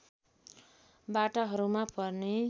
बाटाहरूमा पर्ने